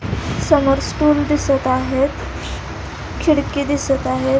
समोर स्टूल दिसत आहेत खिडकी दिसत आहेत.